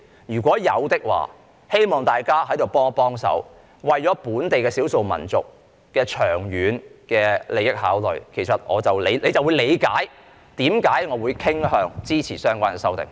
如有，希望大家在此幫幫忙，為了本地少數民族的長遠利益作出考慮，大家就會理解為何我會傾向支持相關的修訂。